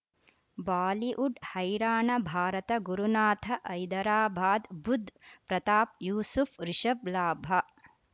Bollywood ಹೈರಾಣ ಭಾರತ ಗುರುನಾಥ ಹೈದರಾಬಾದ್ ಬುಧ್ ಪ್ರತಾಪ್ ಯೂಸುಫ್ ರಿಷಬ್ ಲಾಭ